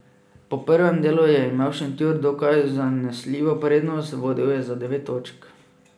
Po prvem delu je imel Šentjur dokaj zanesljivo prednost, vodil je za devet točk.